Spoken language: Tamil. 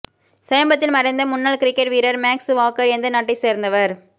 சமீபத்தில் மறைந்த முன்னாள் கிரிக்கெட் வீரர் மேக்ஸ் வாக்கர் எந்த நாட்டை சேர்ந்தவர்